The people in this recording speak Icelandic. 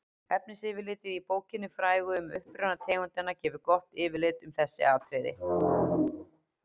efnisyfirlitið í bókinni frægu um uppruna tegundanna gefur gott yfirlit um þessi atriði